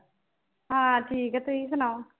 ਹਾਂ ਠੀਕ ਹੈ ਤੁਸੀ ਸੁਣਾਓ